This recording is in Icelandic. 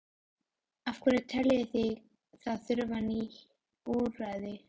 Af hverju teljið þið að það þurfi ný úrræði?